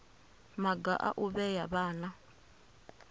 maga a u vhea vhana